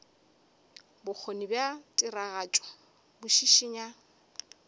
bokgoni bja tiragatšo bo šišinya